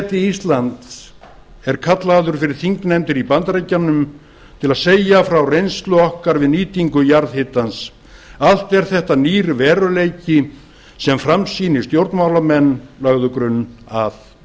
forseti íslands er kallaður fyrir þingnefndir í bandaríkjunum til að segja frá reynslu okkar við nýtingu jarðhitans allt er þetta nýr veruleiki sem framsýnir stjórnmálamenn lögðu grunn að